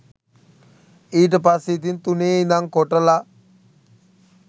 ඊට පස්සේ ඉතින් තුනේ ඉදන් කොටලා